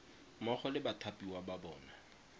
mmogo le bathapiwa ba bona